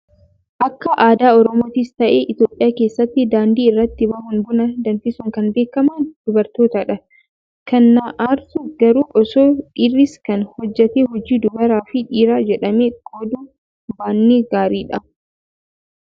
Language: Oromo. Akka aadaa oromoottis ta'ee Itoophiyaa keessatti daandii irratti bahuun buna danfisuun kan beekaman dubartootadha. Kan na aarsu garuu osoo dhiirris kana hojjatee hojii dubaraa fi dhiiraa jedhamee qooduu baannee gaariidha.